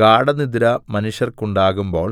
ഗാഢനിദ്ര മനുഷ്യർക്കുണ്ടാകുമ്പോൾ